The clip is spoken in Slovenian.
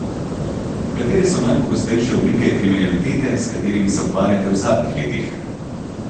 Katere so najpogostejše oblike kriminalitete, s katerimi se ukvarjate v zadnjih letih?